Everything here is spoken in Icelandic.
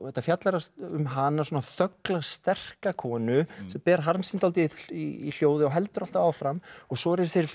þetta fjallar um hana svona þögla sterka konu sem ber harm sinn dálítið í hljóði og heldur alltaf áfram og svo eru þessir